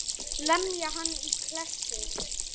Lemja hann í klessu.